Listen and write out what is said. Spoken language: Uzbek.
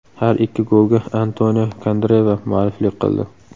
Har ikki golga Antonio Kandreva mualliflik qildi.